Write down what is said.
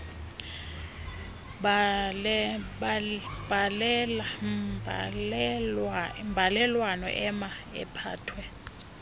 mbalelwano ema iphathwe